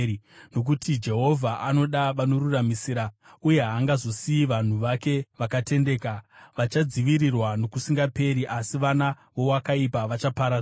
Nokuti Jehovha anoda vanoruramisira uye haangazosiyi vanhu vake vakatendeka. Vachadzivirirwa nokusingaperi; asi vana vowakaipa vachaparadzwa;